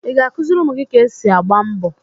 Ị̀ ga-akụziri ụmụ gị ka esi agba mbọ?